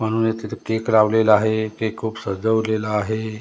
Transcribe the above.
म्हणूनच तिथे केक लावलेला आहे केक खूप सजवलेला आहे.